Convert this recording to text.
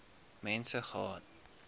mense gehad